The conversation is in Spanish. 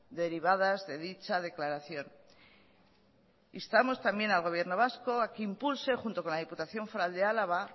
derivadas de dicha declaración instamos también al gobierno vasco a que impulse junto con la diputación foral de álava